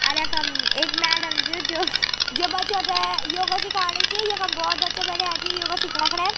अर यखम एक मैडम च जो जो बच्चो थे योगा सिखाणी च यखम बहौत बच्चा बैठ्याँ छी योग सिखणा खन।